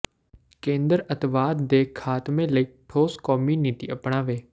ਕੇਂਦਰ ਅੱਤਵਾਦ ਦੇ ਖਾਤਮੇ ਲਈ ਠੋਸ ਕੌਮੀ ਨੀਤੀ ਅਪਣਾਵੇ